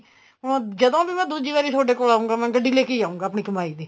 ਹੁਣ ਜਦੋਂ ਵੀ ਮੈਂ ਦੂਜੀ ਵਾਰੀ ਤੁਹਾਡੇ ਕੋਲ ਆਉਗਾ ਗੱਡੀ ਲੈਕੇ ਹੀ ਆਉਗਾ ਆਪਣੀ ਕਮਾਈ ਦੀ